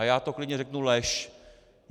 A já to klidně řeknu: lež.